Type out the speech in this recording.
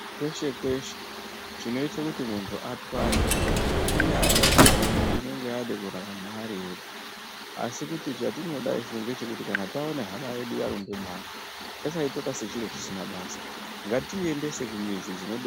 Kweshe kweshe, chinoite kuti muntu atwaye, inyaya yekuti muntu unenge adakurarama ari ega, asi kuti chatinoda isu ndechekuti kana tawona hama yedu yarumba bani, tisasayitore sechintu chisina basa. Ngatiyiendese kumizi.